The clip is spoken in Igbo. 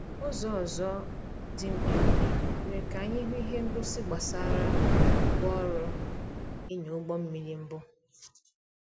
Ụzọ ọzọ dị mkpirikpi mere ka anyị hụ ihe ngosi gbasara ngwa orụ ịnya ụgbọ mmiri mbụ